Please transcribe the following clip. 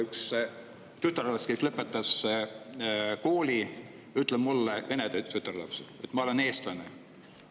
Üks tütarlaps, kes lõpetas kooli, ütles mulle, vene tütarlaps, et ta on eestlane.